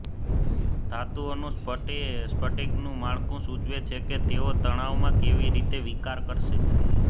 ધાતુઓનું સ્ફટિકનું માળખું સૂચવે છે કે તેઓ તણાવમાં કેવી રીતે વિકાર કરશે